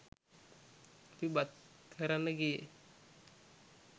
අපි බත් කරන්න ගියේ